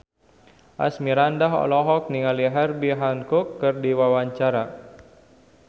Asmirandah olohok ningali Herbie Hancock keur diwawancara